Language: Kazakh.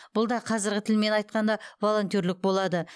бұл да қазіргі тілмен айтқанда волонтерлік болады